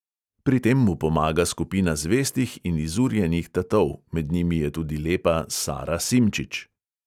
Pri tem mu pomaga skupina zvestih in izurjenih tatov, med njimi je tudi lepa sara simčič.